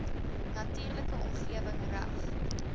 natuurlike omgewing reg